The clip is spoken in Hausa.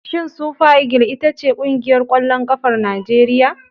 Shin sufa igil iyta ce ƙungiyar ƙwallon ƙafar Najeriya?